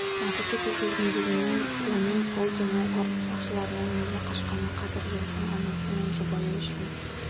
мотоцикл тізгіндеген оның сол түні тәртіп сақшыларынан неге қашқаны қазір жігіттің анасы мен жұбайы үшін